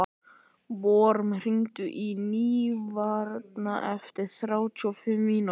Vorm, hringdu í Nývarð eftir þrjátíu og fimm mínútur.